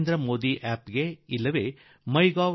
Narendra Modi app ನಲ್ಲಿ ಒಥಿ ಉov